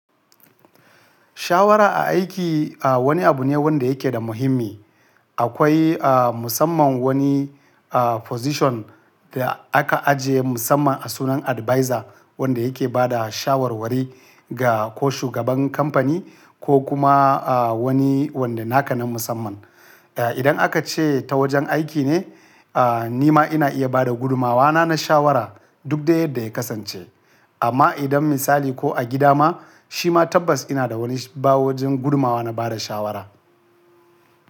Shawara a aiki, wani abu ne wanda yake da muhimmi. Akwai a musamman wani a position da aka ajiye musamman a sunan adviser wanda yake ba da shawarwari ga ko shugaban kamfani ko kuma a wani wanda naka na musamman. Idan aka ce ta wajen aiki ne, a ni ma ina iya bada gudunmawa na, na shawara duk dai yadda ya kasance. Amma idan misali ko a gida ma, shi ma tabbas ina da wani bawa wajen gudumawa na bada shawara.